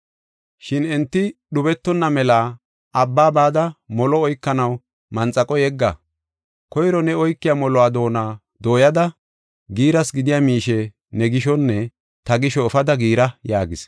Shin enti dhubetonna mela abba bada molo oykanaw manxaqo yegga. Koyro ne oykiya moluwa doona dooyada giiras gidiya miishe ne gishonne ta gisho efada giira” yaagis.